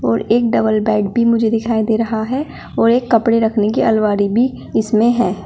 और एक double bed भी मुझे दिखाई दे रहा है और एक कपड़े रखने की अलमारी भी इसमें है।